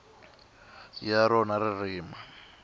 ya rona ririmi ni